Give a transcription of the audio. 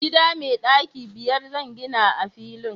gida mai daki biyar zan gina a filin